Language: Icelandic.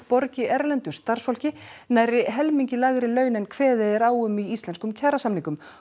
borgi erlendu starfsfólki nærri helmingi lægri laun en kveðið er á um í íslenskum kjarasamningum